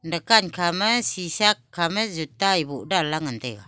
dukan kham shisha khama zuta e boh danla ngan taiga.